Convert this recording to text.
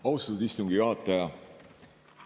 Austatud istungi juhataja!